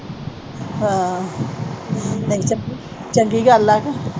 ਹਾਂ, ਤੈਨੂੰ ਤਾਂ ਫਿਰ ਚੰਗੀ ਗੱਲ ਆ।